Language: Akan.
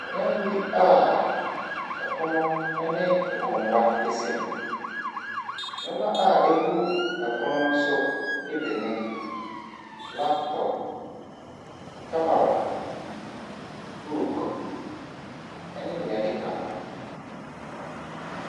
Dan bi a pono ne nkonnwa si mu. Nneɔma a ɛgu pono ne so ne bi ne laptop, camera, bookne nea ɛkeka ho.